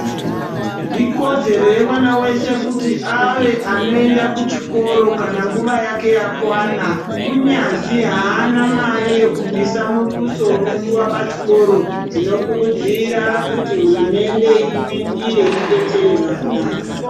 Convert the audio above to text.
Ikodzero yemwana wese kuti ave anoenda kuchikoro kana nguwa yake yakwana kunyazwi aana mari yekubvisa muduso unodiwa pachikoro tinokurudzira kuti hurumende ipindire idetsere vana.